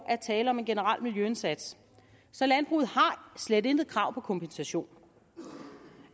er tale om en generel miljøindsats så landbruget har slet intet krav på kompensation